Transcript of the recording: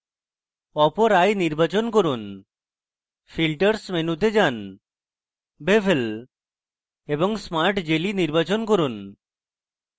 অপর eye নির্বাচন করি filters মেনুতে যান bevel এবং smart jelly নির্বাচন করুন